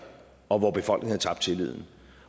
og hvor befolkningen havde tabt tilliden